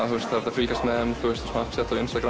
fylgjast með